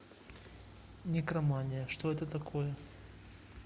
некромания что это такое